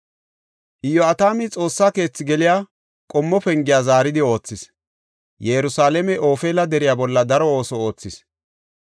Iyo7atami Xoossa keethi geliya Qommo Pengiya zaaridi oothis; Yerusalaame Ofeela deriya bolla daro ooso oothis.